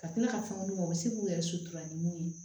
Ka tila ka fɛn mun u bɛ se k'u yɛrɛ ni mun ye